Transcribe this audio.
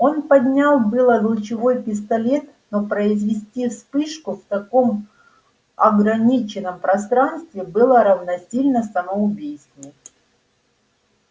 он поднял было лучевой пистолет но произвести вспышку в таком ограниченном пространстве было равносильно самоубийству